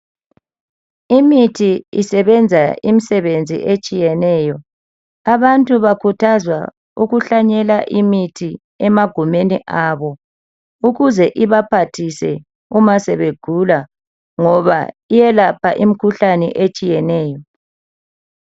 Imithi isebenza imisebenzi etshiyeneyo. Abantu bakhuthazwa ukuhlanyela imithi emagumeni abo ukuze ibaphathise uma sebegula ngoba iyelapha imikhuhlane etshiyeneyo.